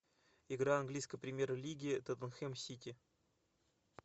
игра английской премьер лиги тоттенхэм сити